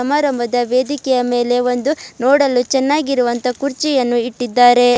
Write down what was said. ಅವರ ಮದ್ಯ ವೇದಿಕೆ ಮೇಲೆ ಒಂದು ನೋಡಲು ಚೆನ್ನಾಗಿರುವಂತಹ ಒಂದು ಕುರ್ಚಿಯನ್ನು ಇಟ್ಟಿದ್ದಾರೆ.